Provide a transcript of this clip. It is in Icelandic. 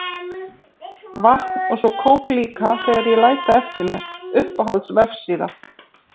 Vatn og svo kók líka þegar ég læt það eftir mér Uppáhalds vefsíða?